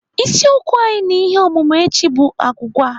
Isiokwu anyị na ihe ọmụmụ echi bụ agwụgwa.